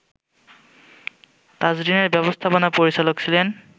তাজরিনের ব্যাবস্থাপনা পরিচালক ছিলেন